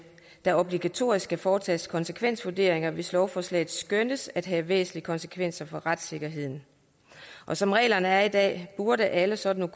der obligatorisk skal foretages konsekvensvurderinger hvis lovforslaget skønnes at have væsentlige konsekvenser for retssikkerheden som reglerne er i dag burde alle sådan